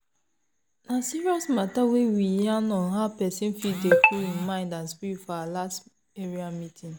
na serious matta we yarn on how pesin fit dey cool hin mind and spirit for our last area meeting.